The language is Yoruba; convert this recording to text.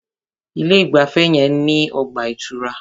Ilé ìgbafẹ́ yẹn ní ọgbà ìtura.